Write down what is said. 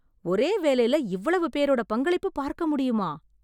ஒரே வேலைல இவ்வளவு பேரோட பங்களிப்பு பார்க்க முடியுமா?